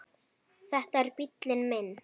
Þetta er bíllinn minn